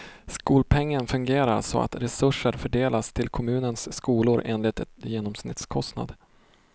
Skolpengen fungerar så att resurser fördelas till kommunens skolor enligt en genomsnittskostnad.